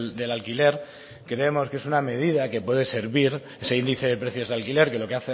del alquiler creemos que es una medida que puede servir ese índice de precios de alquiler que lo que